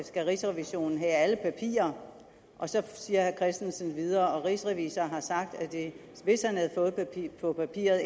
skal rigsrevisionen have alle papirer og så siger herre christensen videre at rigsrevisor har sagt at hvis han havde fået papiret